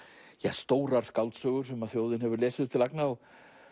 stórra skáldsagna sem þjóðin hefur lesið upp til agna og